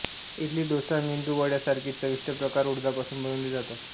इडली डोसा मेदूवडय़ासारखे चविष्ट प्रकार उडदापासून बनवले जातात